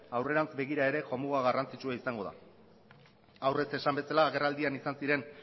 aurrerantz begira ere jomuga garrantzitsua izango da aurrez esan bezala agerraldian izan ziren